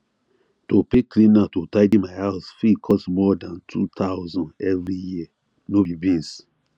to pay cleaner to tidy my house fit cost more than 2000 every year no be beans